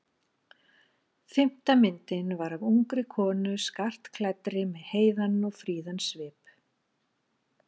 Fimmta myndin var af ungri konu skartklæddri með heiðan og fríðan svip.